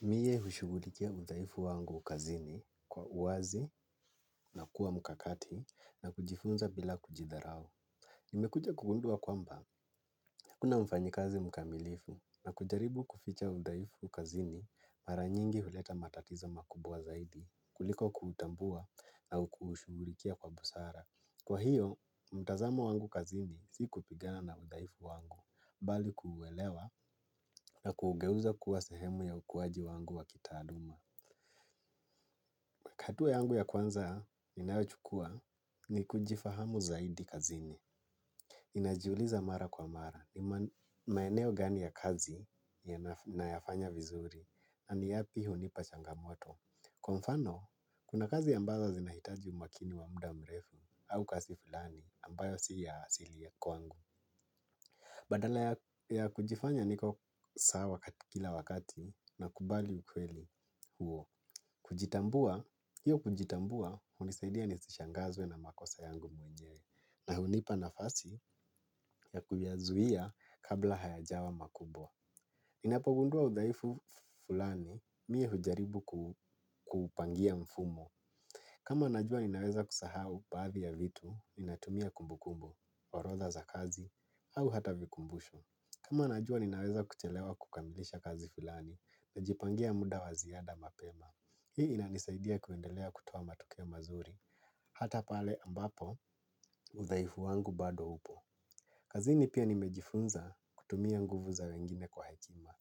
Mie hushughulikia udhaifu wangu kazini kwa uwazi na kuwa mkakati na kujifunza bila kujidharau. Nimekuja kugundua kwamba, hakuna mfanyikazi mkamilifu na kujaribu kuficha udhaifu kazini mara nyingi huleta matatizo makubwa zaidi kuliko kutambua na kushughulikia kwa busara. Kwa hiyo, mtazamo wangu kazini si kupigana na udhaifu wangu, bali kuuelewa na kuugeuza kuwa sehemu ya ukuwaji wangu wa kitaaluma. Hatua yangu ya kwanza ninayochukua ni kujifahamu zaidi kazini. Ninajiuliza mara kwa mara ni maeneo gani ya kazi nayafanya vizuri, na ni yapi hunipa changamoto. Kwa mfano, kuna kazi ambazo zinahitaji umakini wa muda mrefu au kasi fulani ambayo si ya asili ya kwangu. Badala ya kujifanya niko sawa kila wakati nakubali ukweli huo. Kujitambua, hiyo kujitambua hunisaidia nisishangazwe na makosa yangu mwenyewe, na hunipa nafasi ya kuyazuia kabla hayajawa makubwa. Ninapogundua udhaifu fulani mie hujaribu kuupangia mfumo. Kama najua ninaweza kusahau baadhi ya vitu, ninatumia kumbukumbu, orodha za kazi au hata vikumbusho. Kama najua ninaweza kuchelewa kukamilisha kazi fulani, najipangia muda wa ziada mapema. Hii inanisaidia kuendelea kutoa matokeo mazuri, hata pale ambapo udhaifu wangu bado upo. Kazini pia nimejifunza kutumia nguvu za wengine kwa hekima,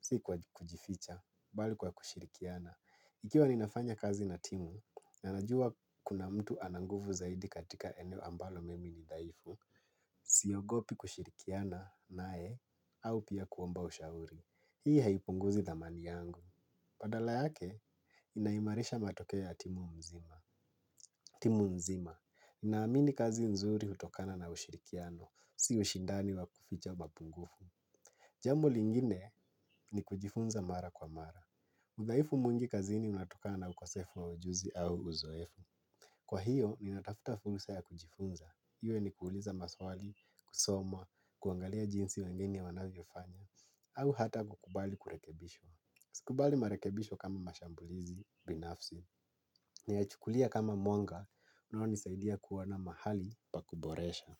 si kwa kujificha, bali kwa kushirikiana. Ikiwa ninafanya kazi na timu, na najua kuna mtu ana nguvu zaidi katika eneo ambalo mimi ni dhaifu, siogopi kushirikiana naye, au pia kuomba ushauri. Hii haipunguzi dhamani yangu. Badala yake, inaimarisha matokeo ya timu mzima. Timu nzima, ninaamini kazi nzuri hutokana na ushirikiano, si ushindani wa kuficha mapungufu. Jambo lingine ni kujifunza mara kwa mara. Udhaifu mwingi kazini unatokana na ukosefu wa ujuzi au uzoefu. Kwa hiyo, ninatafuta fursa ya kujifunza. Iwe ni kuuliza maswali, kusoma, kuangalia jinsi wengine wanavyofanya. Au hata kukubali kurekebishwa. Sikubali marekebisho kama mashambulizi binafsi, nayachukulia kama mwanga, unaonisaidia kuona mahali pa kuboresha.